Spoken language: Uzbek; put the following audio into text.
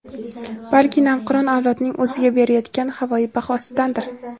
balki navqiron avlodning o‘ziga berayotgan havoyi bahosidandir.